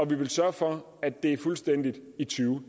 vi vil sørge for at det er sket fuldstændigt i to